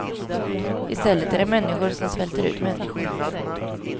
Istället är det människor som svälter ut människor.